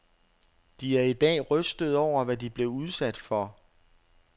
De er i dag rystede over, hvad de blev udsat for.